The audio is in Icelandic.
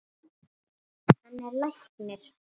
Hann er læknir.